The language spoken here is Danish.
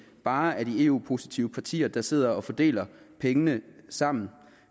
bare er de eu positive partier der sidder og fordeler pengene sammen